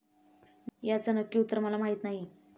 याचं नक्की उत्तर मला माहिती नाही.